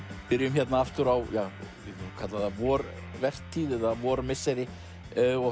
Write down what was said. byrjum hérna aftur á vorvertíð eða vormisseri og